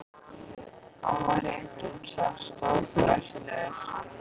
Hann var hreint út sagt stórglæsilegur.